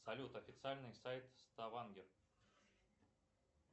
салют официальный сайт ставангер